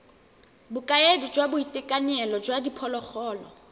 bokaedi jwa boitekanelo jwa diphologolo